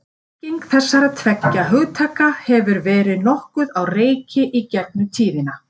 Merking þessara tveggja hugtaka hefur verið nokkuð á reiki í gegnum tíðina.